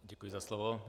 Děkuji za slovo.